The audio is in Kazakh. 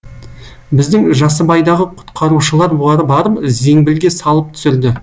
біздің жасыбайдағы құтқарушылар барып зеңбілге салып түсірді